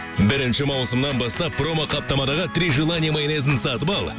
бірінші маусымнан бастап промоқаптамадағы три желание майонезін сатып ал